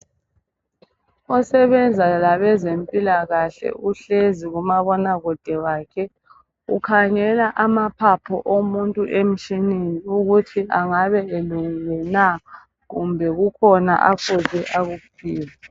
osebenza labezempilakahle uhlezi kumabonakude wakhe ukhangela amaphaphu omuntu emtshineni ukuthi engabe elungile na kumbe kukhona afuze akukhiphe